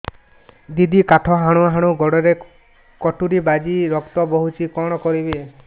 ଦିଦି କାଠ ହାଣୁ ହାଣୁ ଗୋଡରେ କଟୁରୀ ବାଜି ରକ୍ତ ବୋହୁଛି କଣ କରିବି